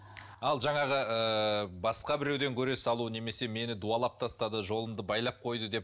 ал жаңағы ыыы басқа біреуден көре салу немесе мені дуалап тастады жолымды байлап қойды деп